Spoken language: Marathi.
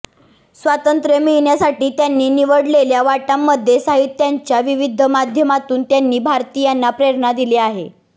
स्वातंत्र्य मिळवण्यासाठी त्यांनी निवडलेल्या वाटांमध्ये साहित्याच्या विविध माध्यमातून त्यांनी भारतीयांना प्रेरणा दिली आहे